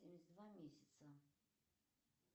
через два месяца